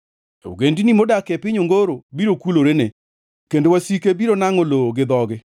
Ogendini modak e piny ongoro biro kulorene kendo wasike biro nangʼo lowo gi dhogi.